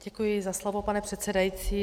Děkuji za slovo, pane předsedající.